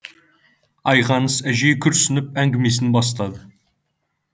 айғаныс әжей күрсініп әңгімесін бастады